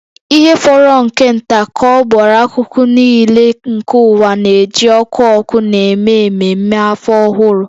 Ihe fọrọ nke nta ka ọ bụrụ akụkụ nile nke ụwa na-eji ọkụ ọkụ na-eme ememe Afọ Ọhụrụ